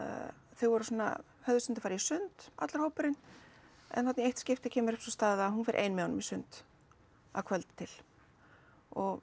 þau höfðu stundum farið í sund allur hópurinn en þarna í eitt skipti kemur upp sú staða að hún fer ein með honum í sund að kvöldi til og